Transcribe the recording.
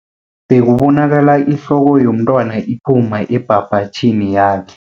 Bekubonakala ihloko yomntwana iphuma ebhabhatjhini yakhe.